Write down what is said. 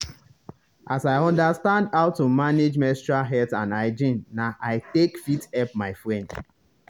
as i understand how to manage menstrual health and hygiene na i take fit help my friend.